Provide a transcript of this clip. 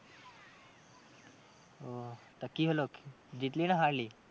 ও তো কি হলো জিতলি না হারলি?